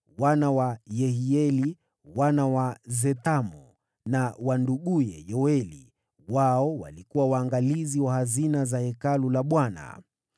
wana wa Yehieli, wana wa Zethamu na wa nduguye Yoeli. Wao walikuwa waangalizi wa hazina za Hekalu la Bwana .